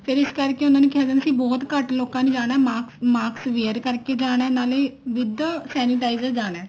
ਫ਼ੇਰ ਇਸ ਕਰਕੇ ਉਹਨਾ ਨੂੰ ਕਹਿਣਾ ਸੀ ਬਹੁਤ ਘੱਟ ਲੋਕਾਂ ਨੇ ਜਾਣਾ mask wear ਕਰਕੇ ਜਾਣਾ ਨਾਲੇ with sanitizer ਜਾਣਾ